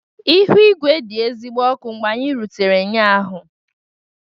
Ihu igwe dị ezigbo ọkụ mgbe anyị rutere ụnyaahụ